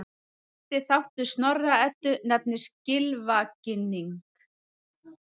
Fyrsti þáttur Snorra-Eddu nefnist Gylfaginning.